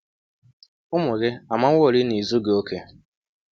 Ụmụ gị amaworị na i zughị okè.